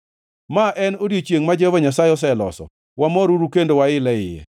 Ma en odiechiengʼ ma Jehova Nyasaye oseloso; wamoruru kendo wail e iye.